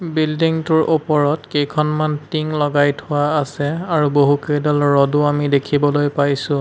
বিল্ডিংটোৰ ওপৰত কেইখনমান টিং লগাই থোৱা আছে আৰু কেইখনমান ৰডো আমি দেখিবলৈ পাইছোঁ।